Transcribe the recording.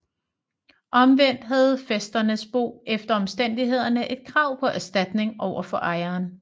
Omvendt havde fæsterens bo efter omstændighederne et krav på erstatning over for ejeren